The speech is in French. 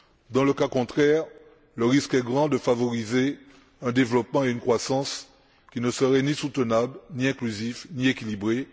Dans le cas contraire, le risque est grand de favoriser un développement et une croissance qui ne seraient ni soutenables ni inclusifs ni équilibrés.